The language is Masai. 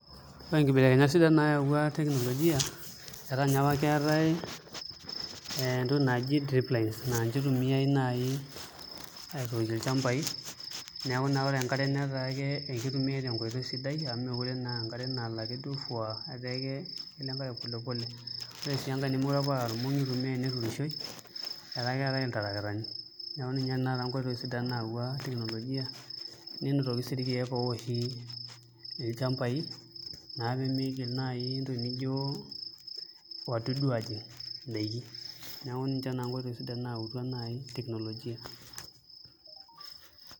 Ore inkibelekenyat sidan naayau teknolojia etaa enye apa keetai entoki naji drip line naa inche itumiai naai aitookie ilchambai neeku ore enkare netaa kitumia te nkoitoi sidai amu meekure naa enkare nalo ake fuaaa etaa ekelo enkare pole pole ore sii enkae etaa teneyiueni neturishoi etaa keetai ake iltarakitani, neeku ninye taa enkoitoi sidan nayaua teknolojia nitobirr sii irkeek ooshi ilchambai naa pee migil nai intokitin nijio wadudu aajing' indaiki neeku ninche naa nkoitoi sidan naayautua naai teknolojia.